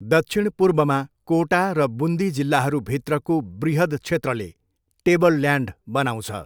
दक्षिणपूर्वमा, कोटा र बुन्दी जिल्लाहरूभित्रको बृहद् क्षेत्रले टेबलल्यान्ड बनाउँछ।